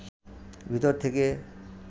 ভিতর থেকে